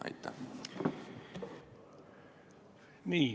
Aitäh!